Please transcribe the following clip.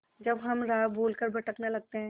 जब हम राह भूल कर भटकने लगते हैं